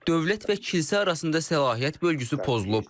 Dövlət və kilsə arasında səlahiyyət bölgüsü pozulub.